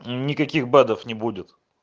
никаких бадов не будет